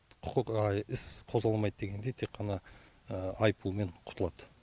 құқық іс қозғалмайды дегендей тек қана айыппұлмен құтылады